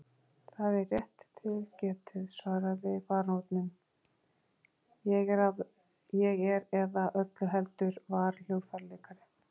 Það er rétt til getið, svaraði baróninn, ég er eða öllu heldur var hljóðfæraleikari.